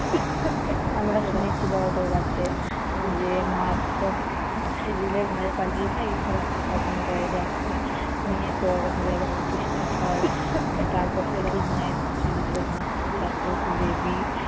আমরা শুনেছি বড়দের কাছে, উম যে মা পালিয়ে যায়, কিন্তু রাতে স্বপ্ন দেয় যে আমকে নিয়ে চল, অমুক জায়গায় প্রতিষ্ঠা কর। তারপর থেকেই মায়ের প্রচলিত। মা খুব জাগ্রত দেবী।